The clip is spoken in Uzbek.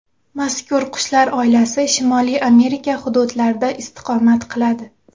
Mazkur qushlar oilasi Shimoliy Amerika hududlarida istiqomat qiladi.